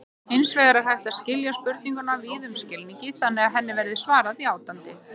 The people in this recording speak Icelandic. Hins vegar er hægt að skilja spurninguna víðum skilningi þannig að henni verði svarað játandi.